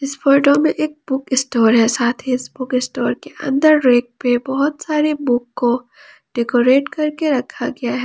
इस फोटो में एक बुक स्टोर है साथ ही इस बुक स्टोर के अंदर रैक पे बहुत सारे बुक को डेकोरेट करके रखा गया है।